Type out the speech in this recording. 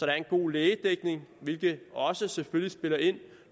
er en god lægedækning hvilket selvfølgelig også spiller ind